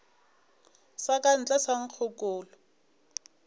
sa ka ntle sa nkgokolo